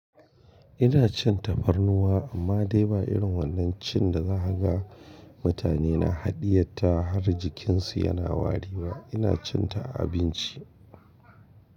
Ina cin tafarnuwa amma dai ba irin wannan cin da zaka ga mutane na haɗiyar ta har jikinsu yana wari ba. Ina cin ta a abinci.